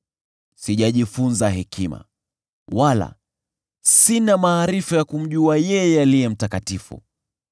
Sijajifunza hekima, wala sina maarifa ya kumjua yeye Aliye Mtakatifu.